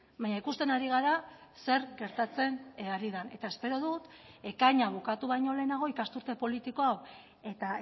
baina ikusten ari gara zer gertatzen ari den eta espero dut ekaina bukatu baino lehenago ikasturte politiko hau eta